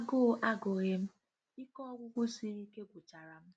Agụụ agughi m, ike ọgwụgwụ siri ike gwucharam.